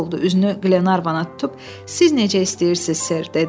Üzünü Qlenarvana tutub, siz necə istəyirsiz, ser, dedi.